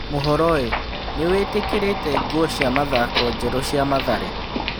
(Mohoro) ĩ nĩ wĩ tĩ kĩ rĩ te nguo cia mathako njerũ cia Mathare?